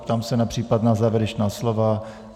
Ptám se na případná závěrečná slova.